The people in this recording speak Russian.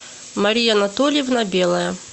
мария анатольевна белая